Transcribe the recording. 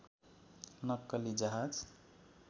नक्कली जहाज